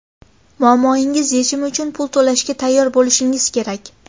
Muammongiz yechimi uchun pul to‘lashga tayyor bo‘lishingiz kerak.